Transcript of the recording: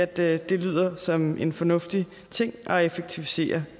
det det lyder som en fornuftig ting at effektivisere